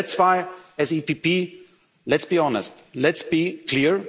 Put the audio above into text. will be so easy. That's why, as EPP let's be honest,